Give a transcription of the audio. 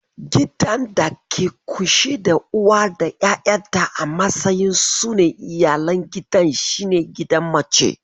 Gidan da ke ƙunshe da uwa da 'yayanta a matsayin su ne iyalan gidan shi ne gidan mace.